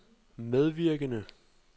medvirkende